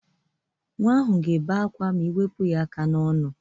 Nwa ahụ ga-ebe akwa ma ị wepụ ya aka n'ọnụ